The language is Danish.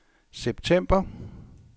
september